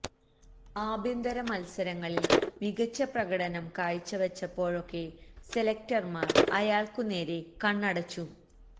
ആഭ്യന്തര മത്സരങ്ങളില് മികച്ച പ്രകടനം കാഴ്ച വെച്ചപ്പോഴൊക്കെ സെലക്ടര്മാര് അയാള്ക്കുനേരെ കണ്ണടച്ചു